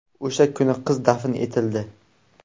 O‘sha kuni qiz dafn etildi.